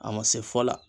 A ma se fɔ la